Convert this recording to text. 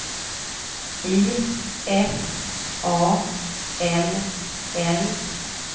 I F A L L